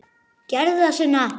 Gerðu það, Sunna!